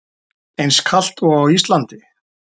Eins kalt og á Íslandi?